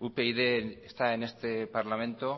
upyd está en este parlamento